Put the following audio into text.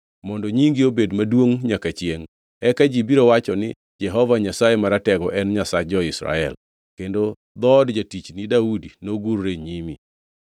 mondo nyingi obed maduongʼ nyaka chiengʼ. Eka ji biro wacho ni, ‘Jehova Nyasaye Maratego en Nyasach jo-Israel!’ Kendo dhood jatichni Daudi nogurre e nyimi.